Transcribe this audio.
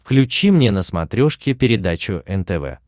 включи мне на смотрешке передачу нтв